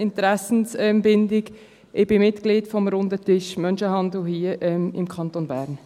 Ich bin Mitglied beim Runden Tisch Menschenhandel hier im Kanton Bern.